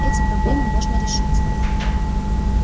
эти проблемы можно решить